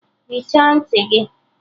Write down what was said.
Hichaa ntị gị!